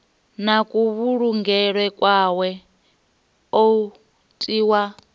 na kuvhulungelwe kwawe u tiwa